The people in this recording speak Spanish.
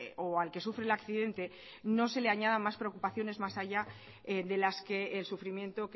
o al que sufre el accidente no se le añadan mas preocupaciones mas allá de las que el sufrimiento